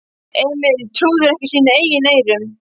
Emil trúði ekki sínum eigin eyrum.